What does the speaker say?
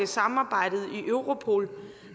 samarbejdet i europol